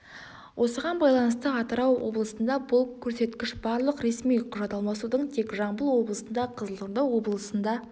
осыған байланысты атырау облысында бұл көрсеткіш барлық ресми құжат алмасудың тек жамбыл облысында қызылорда облысында